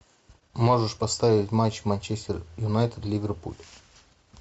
можешь поставить матч манчестер юнайтед ливерпуль